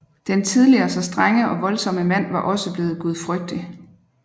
Den tidligere så strenge og voldsomme mand var også bleven gudfrygtig